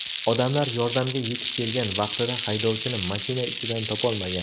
Odamlar yordamga yetib kelgan vaqtida haydovchini mashina ichidan topolmagan.